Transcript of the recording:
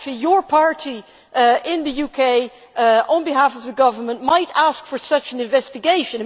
Actually your party in the UK, on behalf of the government, might ask for such an investigation.